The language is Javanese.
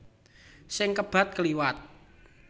Sing kebat kliwat